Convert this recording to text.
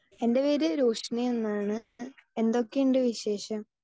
speaker 2 എൻ്റെ പേര് റോഷിനി എന്നാണ് എന്തൊക്കെ ഉണ്ട് വിശേഷം